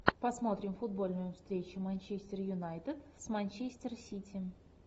посмотрим футбольную встречу манчестер юнайтед с манчестер сити